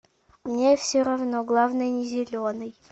мне все равно главное не зеленый